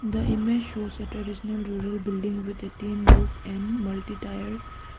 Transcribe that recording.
The image shows a traditional rural building with a tin roof and multi tier --